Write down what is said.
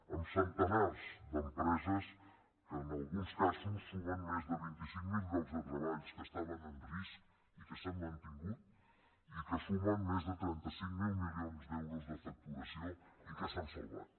amb centenars d’empreses que en alguns casos sumen més de vint cinc mil llocs de treball que estaven en risc i que s’han mantingut i que sumen més de trenta cinc mil milions d’euros de facturació i que s’han salvat